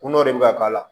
Kun dɔ de bɛ ka k'a la